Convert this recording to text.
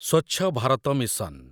Swachh Bharat mission